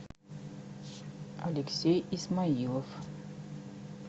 алексей исмаилов